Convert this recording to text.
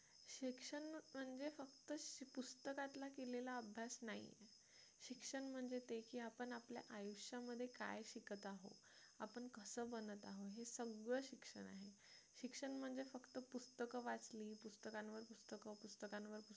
आपला केलेला अभ्यास नाही शिक्षण म्हणजे ते की आपण आपल्या आयुष्यामध्ये काय शिकत आहोत आपण कसं बनवत आहोत हे सगळं शिक्षण आहे शिक्षण म्हणजे फक्त पुस्तक वाचन पुस्तकांवर पुस्तकं पुस्तकांवर पुस्तक